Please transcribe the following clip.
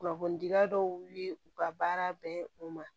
Kunnafonidila dɔw wuli u ka baara bɛn u ma